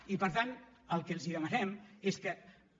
i per tant el que els demanem és que